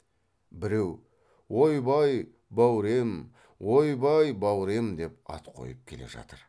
біреу ойбай бауре ем ойбай бауре ем деп ат қойып келе жатыр